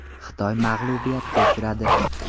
Xitoy mag‘lubiyatga uchradi.